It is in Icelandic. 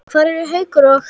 Hvað eru Haukur og